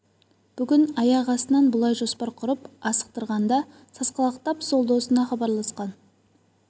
бүгін аяқ астынан бұлай жоспар құрып асықтырғанда сасқалақтап сол досына хабарласқан